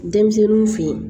Denmisɛnninw fe yen